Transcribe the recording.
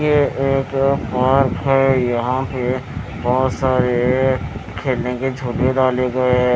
ये एक पार्क है यहां पे बहोत सारे खेलने के झुले डाले गए--